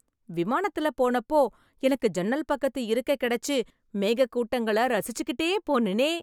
விமானத்துல போனப்போ, எனக்கு ஜன்னல் பக்கத்து இருக்கை கெடைச்சு, மேகக் கூட்டங்களை ரசிச்சுக்கிட்டே போனேனே...